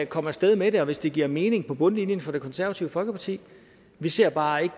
komme af sted med det og hvis det giver mening på bundlinjen for det konservative folkeparti vi ser bare ikke